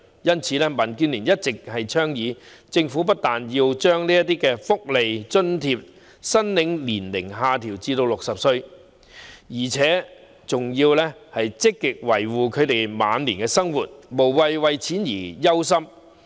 因此，民建聯一直倡議，政府不但要把這些福利津貼申領年齡下調至60歲，而且還要積極維護他們晚年的生活，讓他們無需為錢而憂心。